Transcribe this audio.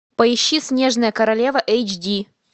поищи снежная королева эйчди